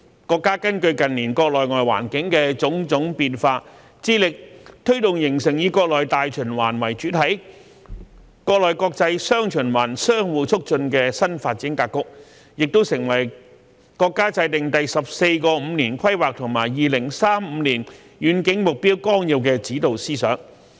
國家根據近年國內外環境的種種變化，致力推動形成以國內大循環為主體、國內國際"雙循環"相互促進的新發展格局，也成為國家制訂《第十四個五年規劃和2035年遠景目標綱要》的指導思想。